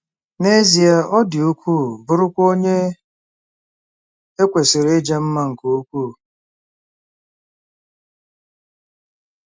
N'ezie, ọ dị ukwuu, bụrụkwa onye e kwesịrị ịja mma nke ukwuu.